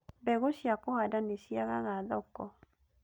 Mbegũ cia kũhanda nĩ ciagaga thoko